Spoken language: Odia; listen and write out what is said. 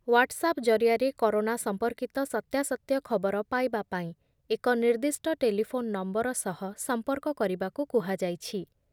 ହ୍ଵାଟ୍ସଆପ୍ ଜରିଆରେ କରୋନା ସମ୍ପର୍କିତ ସତ୍ୟାସତ୍ୟ ଖବର ପାଇବା ପାଇଁ ଏକ ନିର୍ଦ୍ଦିଷ୍ଟ ଟେଲିଫୋନ୍‌ ନମ୍ବର ସହ ସମ୍ପର୍କ କରିବାକୁ କୁହାଯାଇଛି ।